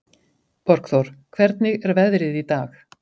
Borgþór, hvernig er veðrið í dag?